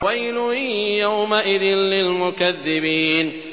وَيْلٌ يَوْمَئِذٍ لِّلْمُكَذِّبِينَ